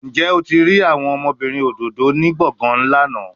Njẹ o ti rii awọn ọmọbirin ododo ni gbọngan lana?